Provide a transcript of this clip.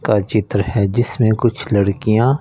का चित्र है जिसमें कुछ लड़कियां--